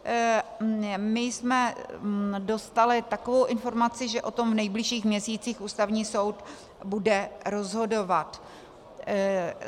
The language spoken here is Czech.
My jsme dostali takovou informaci, že o tom v nejbližších měsících Ústavní soud bude rozhodovat.